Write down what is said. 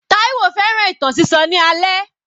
Taiwo fẹ́ràn ìtàn sísọ ní alẹ́.